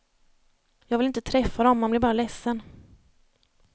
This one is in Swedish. Jag vill inte träffa dem, man blir bara ledsen.